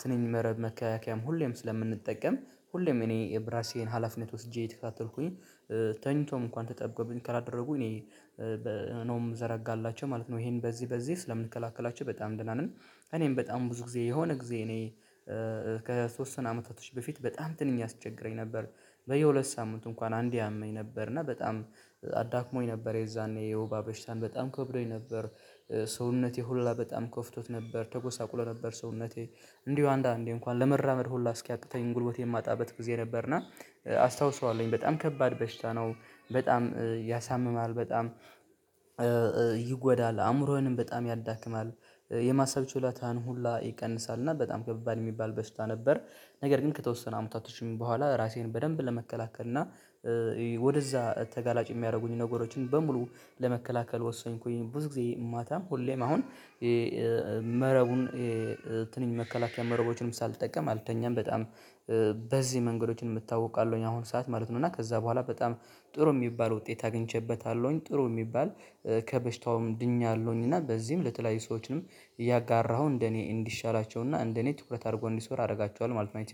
ትንኝ መረብ መከላከያም ሁሌም ስለምንጠቀም ሁሌም እኔ የብራሴን ሀላፊነት ወስጄ እየተከታተልኩኝ ተኝቶም እንኳን ተጠብቆብኝ ከላደረጉ እኔ ነው ምዘረጋላቸው ማለት ነው። ይሄን በዚህ በዚህ ስለምንከላከላቸው በጣም ደህና ነን። እኔም በጣም ብዙ ጊዜ የሆነ ጊዜ እኔ ከተወሰኑ አመታቶች በፊት በጣም ትንኝ ያስቸግረኝ ነበር። በየሁለት ሳምንት እንኳን አንዴ ያመኝ ነበር እና በጣም አዳክሞኝ ነበር የዛኔ የወባ በሽታን በጣም ከብዶኝ ነበር። ሰውነቴ ሁላ በጣም ከፍቶት ነበር ተጎሳቁሎ ነበር ሰውነቴ እንዲሁ አንዳንዴ እንኳን ለመራመድ ሁላ እስኪያቅተኝ ጉልበት የማጣበት ጊዜ ነበርና። አስታውሰዋለሁኝ በጣም ከባድ በሽታ ነው። በጣም ያሳምማል በጣም ይጎዳል አእምሮዬንም በጣም ያዳክማል። የማሰብ ችሎታን ሁላ ይቀንሳል እና በጣም ከባድ የሚባል በሽታ ነበር። ነገር ግን ከተወሰነ አመታቶችም በኋላ ራሴን በደንብ ለመከላከል እና ወደዛ ተጋላጭ የሚያደርጉኝ ነገሮችን በሙሉ ለመከላከል ወሰኝኩኝ። ብዙ ጊዜ ማታ ሁሌም አሁን መረቡን የትንሽ መከላከያ መረቦችንም ሳልጠቀም አልተኛም። በጣም በዚህ መንገዶችም እታወቃለሁኝ አሁን ሰዓት ማለት ነው። እና ከዛ በኋላ በጣም ጥሩ የሚባል ውጤት አግኝቼበታለሁኝ። ጥሩ የሚባል ከበሽታውም ድኛለሁኝና በዚህም ለተለያዩ ሰዎችንም እያጋራሁ እንደኔ እንዲሻላቸውና እንደኔ ትኩረት አድርገው እንዲሰሩ አደርጋቸዋለሁ ማለት ነው።